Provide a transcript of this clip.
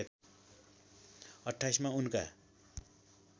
२८ मा उनका